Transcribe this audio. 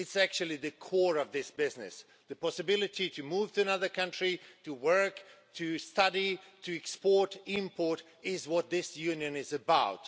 It is actually the core of this business the possibility to move to another country, to work, to study, to export, import that is what this Union is about.